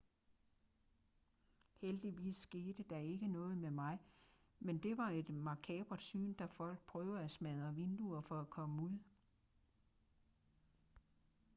heldigvis skete der ikke noget med mig men det var et makabert syn da folk prøvede at smadre vinduer for at komme ud